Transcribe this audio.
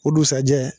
O dugusajɛ